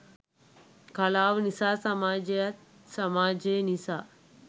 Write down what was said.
කලාව නිසා සමාජයත් සමාජය නිසා